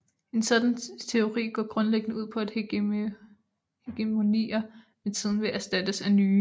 En sådan teori går grundlæggende ud på at hegemonier med tiden vil erstattes af nye